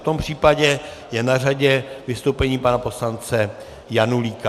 V tom případě je na řadě vystoupení pana poslance Janulíka.